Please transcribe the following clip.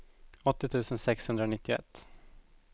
åttio tusen sexhundranittioett